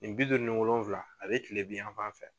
Nin bi duuru ni wolonwula a bɛ kile binyafan fɛ.